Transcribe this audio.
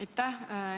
Aitäh!